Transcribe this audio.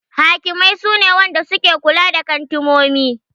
Hakimai su ne Wadanda suke kula da kantumomi.